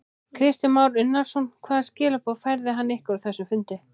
Kristján Már Unnarsson: Hvaða skilaboð færði hann ykkur á þessum fundi?